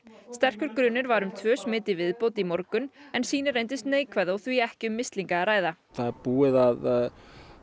sterkur grunur var um tvö smit í viðbót í morgun en sýni reyndust neikvæð og því ekki um mislinga að ræða það er búið að